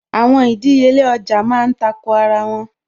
Àwọn ìdíyelé ọjà má ń tako ara wọn